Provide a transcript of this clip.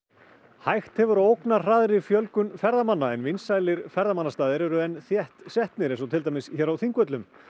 hægt hefur á fjölgun ferðamanna en vinsælir ferðamannastaðir eru enn þétt setnir eins og til dæmis hér á Þingvöllum